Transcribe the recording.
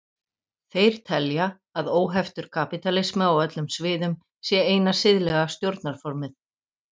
Þeir telja að óheftur kapítalismi á öllum sviðum sé eina siðlega stjórnarformið.